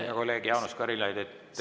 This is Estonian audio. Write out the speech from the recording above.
Hea kolleeg Jaanus Karilaid!